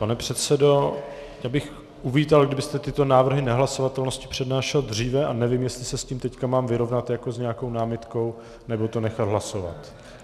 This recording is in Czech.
Pane předsedo, já bych uvítal, kdybyste tyto návrhy nehlasovatelnosti přednášel dříve, a nevím, jestli se s tím teď mám vyrovnat jako s nějakou námitkou, nebo to nechat hlasovat.